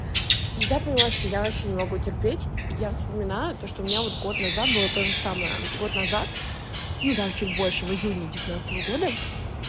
и я понимаю что я вообще не могу терпеть я вспоминаю то что у меня вот год назад было тоже самое год назад ну даже чуть больше в июне девятнадцатого года